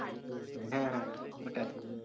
হ্যাঁ হ্যাঁ হ্যাঁ ওঠাই।